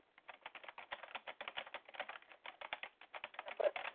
जर.